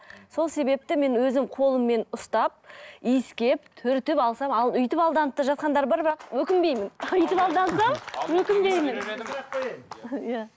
сол себепті мен өзім қолыммен ұстап иіскеп түртіп алсам ал өйтіп алданып та жатқандар бар бірақ өкінбеймін өйтіп алдансам өкінбеймін иә